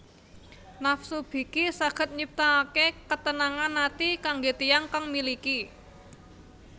Nafsu biki saged nyiptaake ketenangan ati kangge tiyang kang miliki